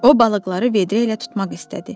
O balıqları vedrə ilə tutmaq istədi.